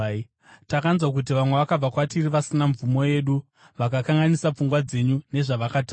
Takanzwa kuti vamwe vakabva kwatiri vasina mvumo yedu vakakanganisa pfungwa dzenyu nezvavakataura.